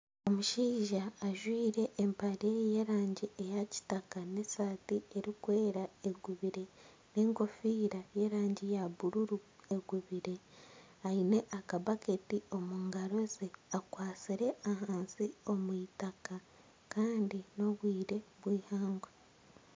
Omushaija ajwire empare y'erangi eya kitaka n'esati erikwera egubire n'enkofiira y'erangi ya bururu egubire aine akabaketi omungaro ze, akwatsire ahansi omu itaka Kandi n'obwire bw'ihangwe.